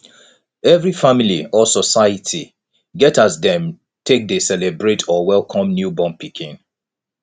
every family or society get as dem take de celebrate or welcome newborn pikin